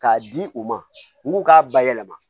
K'a di u ma u k'u k'a bayɛlɛma